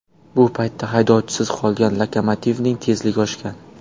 Bu payt haydovchisiz qolgan lokomotivning tezligi oshgan.